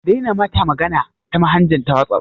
Ka daina mata magana ta manhaja ta wasaf